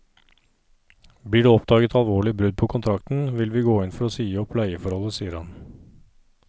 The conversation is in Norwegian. Blir det oppdaget alvorlige brudd på kontrakten, vil vi gå inn for å si opp leieforholdet, sier han.